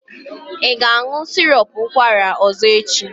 Ị ga-aṅụ sirop ụkwara ọzọ echi?